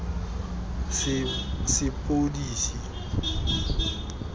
sepodisi